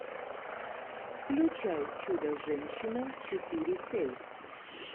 включай чудо женщина четыре кей